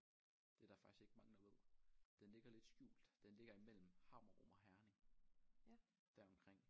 Det der faktisk ikke mange der ved den ligger lidt skjult den ligger imellem Hammerum og Herning deromkring